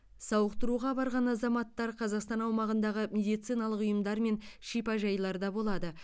сауықтыруға барған азаматтар қазақстан аумағындағы медициналық ұйымдар мен шипажайларда болады